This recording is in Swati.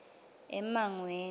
emangweni